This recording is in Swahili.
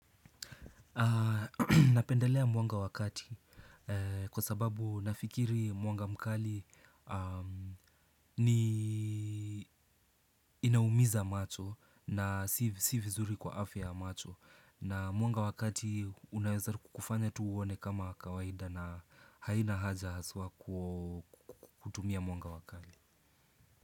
Napendelea mwanga wa kati kwa sababu nafikiri mwanga mkali inaumiza macho sii vizuri kwa afya ya macho na mwanga wakati unaweza kufanya tu uone kama kawaida na haina haja haswa kutumia mwanga wa kali.